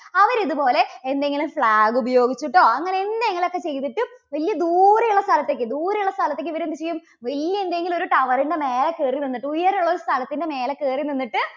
അവരിതുപോലെ എന്തെങ്കിലും flag ഉപയോഗിച്ചിട്ടോ അങ്ങനെ എന്തെങ്കിലുമൊക്കെ ചെയ്തിട്ട് വല്യ ദൂരെ ഉള്ള സ്ഥലത്തേക്ക്, ദൂരെയുള്ള സ്ഥലത്തേക്ക്, ഇവര് എന്ത് ചെയ്യും വല്യ എന്തെങ്കിലും ഒരു tower ന്റെ മേലെ കയറി നിന്നിട്ട്, ഉയരമുള്ള ഒരു സ്ഥലത്തിൻറെ മേലെ കയറി നിന്നിട്ട്